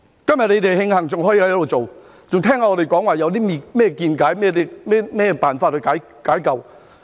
今天你們慶幸還可以繼續做，還可以聆聽我們有何見解，有何辦法解救。